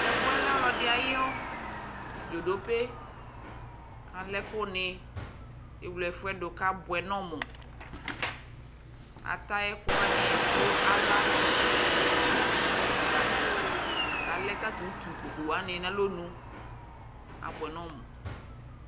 Tɛ fu yɛ lɛ ɔlu ɔdi ayu ɛfu du ivu ku alɛ ɛkuni Ewle ɛfu yɛ du ku abuɛ nu ɔmu Ata ɛkuani ɛdi du ava la ku ɛdi bi du utikpa La ku alɛ tatu utunukuani nu alɔnu Abuɛ nu ɔmu